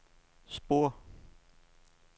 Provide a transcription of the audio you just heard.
spor